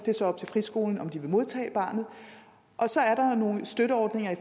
det er så op til friskolen om de vil modtage barnet og så er der nogle støtteordninger i